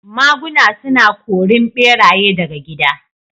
Maguna suna korin ɓeraye daga gida